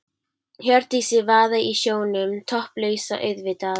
Hjördísi vaða í sjónum, topplausa auðvitað.